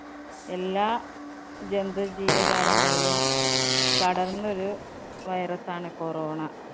എല്ലാ ജന്തു ജീവ ജാലങ്ങളിലും പടര്‍ന്നൊരു virus ആണ് corona.